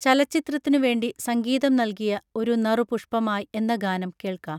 ചലചിത്രത്തിനുവേണ്ടി സംഗീതം നൽകിയ ഒരു നറു പുഷ്പമായ് എന്ന ഗാനം കേൾക്കാം